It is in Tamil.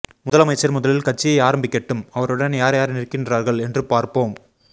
முதலமைச்சர் முதலில் கட்சியை ஆரம்பிக்கட்டும் அவருடன் யார் யார் நிற்கின்றார்கள் என்று பார்ப்போம்